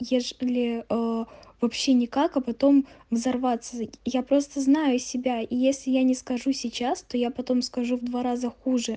ежели ээ вообще никак а потом взорваться я просто знаю себя если я не скажу сейчас то я потом скажу в два раза